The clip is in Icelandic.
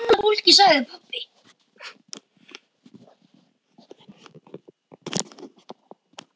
Sko gamla fólkið sagði pabbi.